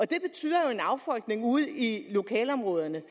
det betyder jo en affolkning ude i lokalområderne